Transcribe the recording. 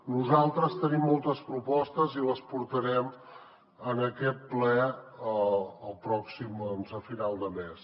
nosaltres tenim moltes propostes i les portarem en aquest ple el pròxim a final de mes